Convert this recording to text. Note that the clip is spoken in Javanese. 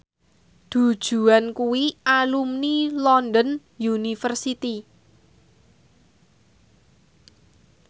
Du Juan kuwi alumni London University